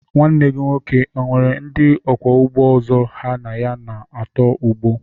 Nwanne gị nwoke o nwere ndị ọkwọ ụgbọ ọzọ ha na ya nọ n'otu ụgbọ?